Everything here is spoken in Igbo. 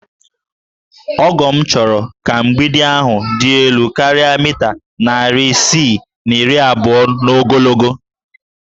Ọgọ m chọrọ ka mgbidi ahụ dị elu karịa mita narị isii na iri abụọ n'ogologo